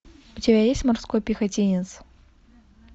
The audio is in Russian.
у тебя есть морской пехотинец